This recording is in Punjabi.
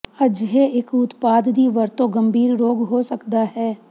ਅਜਿਹੇ ਇੱਕ ਉਤਪਾਦ ਦੀ ਵਰਤੋ ਗੰਭੀਰ ਰੋਗ ਹੋ ਸਕਦਾ ਹੈ